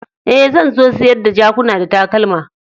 Eh, zan so sayar da jakuna da takalma.